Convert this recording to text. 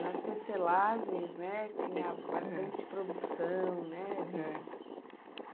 Nas tecelagens, né, tinha bastante produção, né, de, é